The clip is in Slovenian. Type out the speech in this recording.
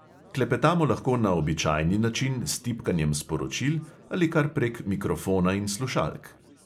Klepetamo lahko na običajni način s tipkanjem sporočil ali kar prek mikrofona in slušalk.